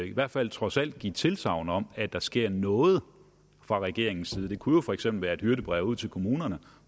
i hvert fald trods alt give tilsagn om at der sker noget fra regeringens side det kunne jo for eksempel være et hyrdebrev ud til kommunerne